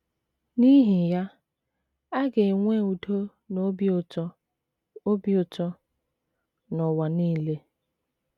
N’ihi ya, a ga - enwe udo na obi ụtọ obi ụtọ n’ụwa nile.